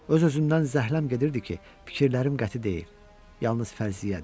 Öz-özümdən zəhləm gedirdi ki, fikirlərim qəti deyil, yalnız fərziyyədir.